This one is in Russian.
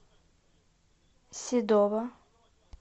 седова